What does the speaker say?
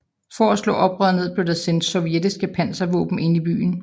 For at slå oprøret ned blev der sendt sovjetiske panservåben ind i byen